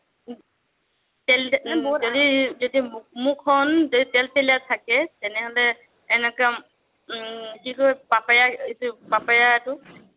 যদি যেতিয়া মুখখন যদি তেলতেলীয়া থাকে, তেনেহ'লে এনেকুৱা উম কি কয় papaya এইটো papaya এইটো